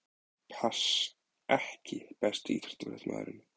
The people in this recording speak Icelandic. Pass EKKI besti íþróttafréttamaðurinn?